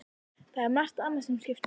Það er margt annað sem skiptir máli.